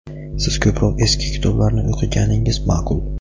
Siz ko‘proq eski kitoblarni o‘qiganingiz maʼqul.